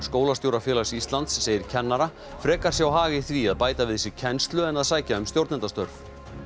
Skólastjórafélags Íslands segir kennara frekar sjá hag í því að bæta við sig kennslu en að sækja um stjórnendastörf